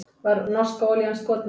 Var norska olían skotmarkið